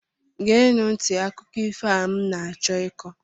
geenụ nti akụkọ ifo a m na-achọ ịkọ